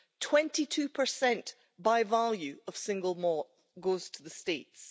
Twenty two percent by value of single malt goes to the States.